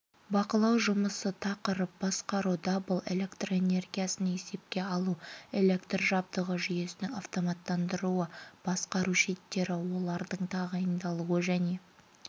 бақылау жұмысы тақырып басқару дабыл электроэнергиясын есепке алу электр жабдығы жүйесінің автоматтандыруы басқару щиттері олардың тағайындалуы және